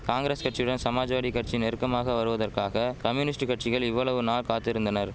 காங்கிரஸ் கட்சியுடன் சமாஜ்வாடி கட்சி நெருக்கமாக வருவதற்காக கம்யூனிஸ்ட் கட்சிகள் இவ்வளவு நா காத்திருந்தனர்